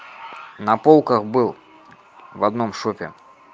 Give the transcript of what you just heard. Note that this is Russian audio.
на полках был в одном шопе